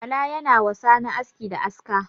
Bala ya na wa sani aski da aska.